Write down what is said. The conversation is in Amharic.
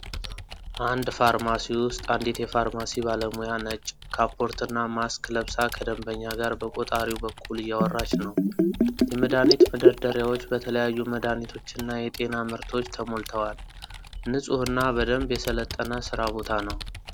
አንድ ፋርማሲ ውስጥ አንዲት የፋርማሲ ባለሙያ ነጭ ካፖርትና ማስክ ለብሳ ከደንበኛ ጋር በቆጣሪው በኩል እያወራች ነው። የመድኃኒት መደርደሪያዎች በተለያዩ መድኃኒቶችና የጤና ምርቶች ተሞልተዋል። ንፁህና በደንብ የሠለጠነ ሥራ ቦታ ነው።